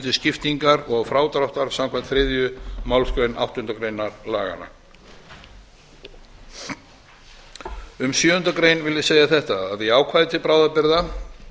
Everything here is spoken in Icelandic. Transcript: til skiptingar og frádráttar samkvæmt þriðju málsgrein áttundu grein laganna um sjöundu grein vil ég segja þetta í ákvæði til bráðabirgða